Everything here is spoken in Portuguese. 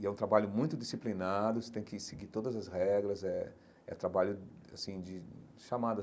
E é um trabalho muito disciplinado, você tem que seguir todas as regras, é é trabalho assim de chamada.